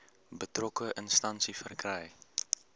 betrokke instansie verkry